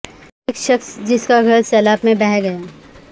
ایک شخص جس کا گھر سیلاب میں بہہ گیا